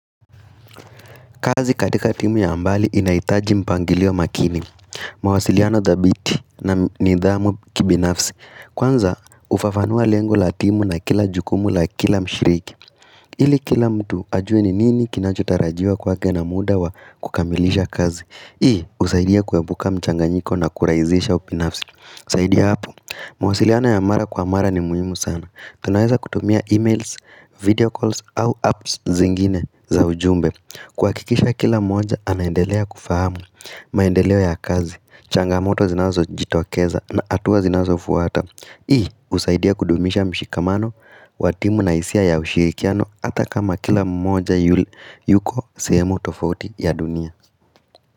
Kazi katika timu ya mbali inaitaji mpangilio makini mawasiliano thabiti na nidhamu kibinafsi Kwanza ufafanua lengo la timu na kila jukumu la kila mshiriki ili kila mtu ajue ni nini kinachotarajiwa kwake na muda wa kukamilisha kazi Hii husaidia kuwepuka mchanganyiko na kurahisisha ubinafsi zaidia hapu mawasiliano ya mara kwa mara ni muhimu sana Tunaweza kutumia emails, video calls au apps zingine za ujumbe kuhakikisha kila mmoja anaendelea kufahamu, maendeleo ya kazi, changamoto zinazo jitokeza na hatuwa zinazo fuwata Hii usaidia kudumisha mshikamano, wa timu na hisia ya ushirikiano ata kama kila mmoja yuko sehemu tofauti ya dunia.